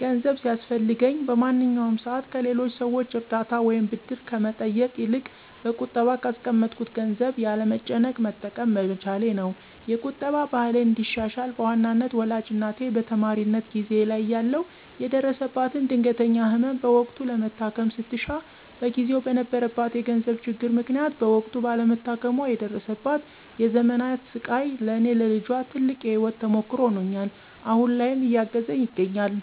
ገንዘብ ሲያስፈልገኝ በማንኛውም ሰዓት ከሌሎች ሰዎች እርዳታ ወይም ብድር ከመጠየቅ ይልቅ በቁጠባ ካስቀመጥኩት ገንዘብ ያለ መጨነቅ መጠቀም በመቻሌ ነው። የቁጠባ ባህሌን እንዳሻሽል በዋናነት ወላጅ እናቴ በተማሪነት ጊዜየ ላይ እያለሁ የደረሰባትን ድንገተኛ ህመም በወቅቱ ለመታከም ስትሻ በጊዜው በነበረባት የገንዘብ ችግር ምክንያት በወቅቱ ባለመታከሟ የደረሰባት የዘመናት ስቃይ ለኔ ለልጇ ትልቅ የህይወት ተሞክሮ ሆኖኝ አሁን ላይም እያገዘኝ ይገኛል።